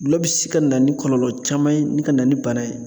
Gulɔ bi se ka na ni kɔlɔlɔ caman ye ni ka na ni bana ye.